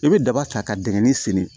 I bɛ daba ta ka dingɛ senni